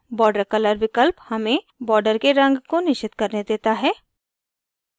border color विकल्प हमें border के रंग को निश्चित करने देता है